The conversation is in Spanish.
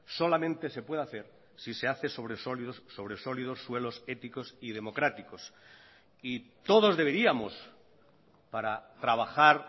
solamente se puede hacer si se hace sobre sólidos sobre sólidos suelos éticos y democráticos y todos deberíamos para trabajar